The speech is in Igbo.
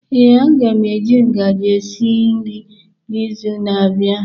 Ee, a ga m eji ngaji esi nri n'izu na-abịa.